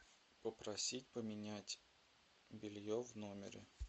попросить поменять белье в номере